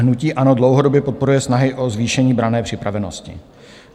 Hnutí ANO dlouhodobě podporuje snahy o zvýšení branné připravenosti.